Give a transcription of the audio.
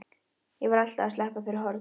Ég var alltaf að sleppa fyrir horn.